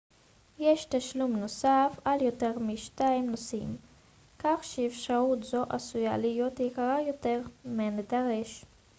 יש תשלום נוסף על יותר מ-2 נוסעים כך שאפשרות זו עשויה להיות יקרה יותר מהנדרש